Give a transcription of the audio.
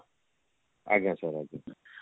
ଆଜ୍ଞା sir ଆଜ୍ଞା